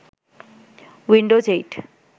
Windows ৮